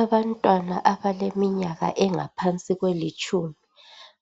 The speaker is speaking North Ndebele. abantwana abaleminyaka engaphansi kwelitshumi